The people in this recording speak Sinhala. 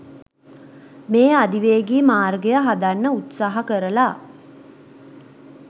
මේ අධිවේගී මාර්ගය හදන්න උත්සාහ කරලා